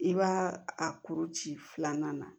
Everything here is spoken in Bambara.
I b'a a kuru ci filanan na